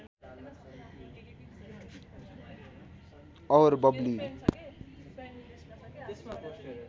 और बब्ली